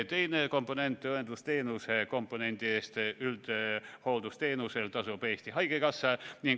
Teiseks, hooldusteenuse komponendi eest üldhooldusteenuse korral tasub Eesti Haigekassa.